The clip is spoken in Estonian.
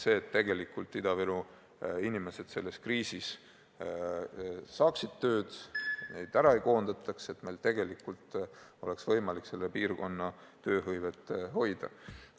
Nimelt see, et Ida-Viru inimesed selles kriisis saaksid tööl käia ja neid ei koondataks, et tegelikult oleks võimalik selle piirkonna tööhõivet hoida.